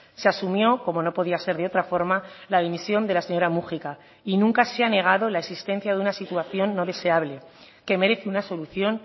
se asumió como no podía ser de otra forma la dimisión de la señora múgica y nunca se ha negado la existencia de una situación no deseable que merece una solución